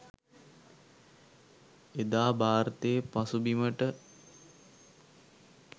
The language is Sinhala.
එදා භාරතේ පසුබිමට